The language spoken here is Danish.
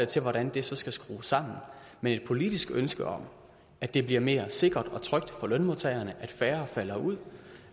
til hvordan det så skal skrues sammen men et politisk ønske om at det bliver mere sikkert og trygt for lønmodtagerne og at færre falder ud